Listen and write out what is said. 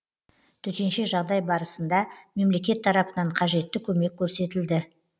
төтенше жағдай барысында мемлекет тарапынан қажетті көмек көрсетілді